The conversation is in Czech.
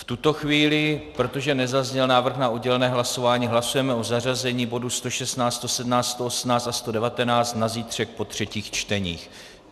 V tuto chvíli, protože nezazněl návrh na oddělené hlasování, hlasujeme o zařazení bodu 116, 117, 118 a 119 na zítřek po třetích čteních.